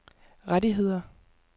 rettigheder